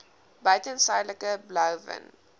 buiten suidelike blouvin